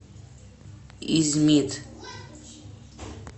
измит